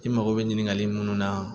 I mago bɛ ɲininkali munnu na